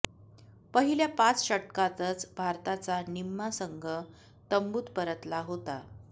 पहिल्या पाच षटकांतच भारताचा निम्मा संघ तंबूत परतला होता